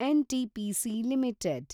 NTPC limited